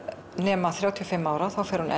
nema þrjátíu og fimm ára þá fer hún